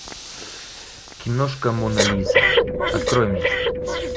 киношка мона лиза открой мне